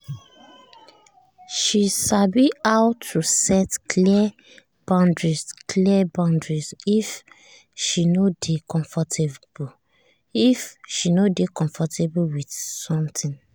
she sabi how to set clear boundary clear boundary if she no dey comfortable with something.